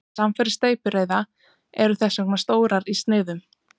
Samfarir steypireyða eru þess vegna stórar í sniðum.